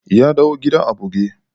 Ya dawo gida a buge.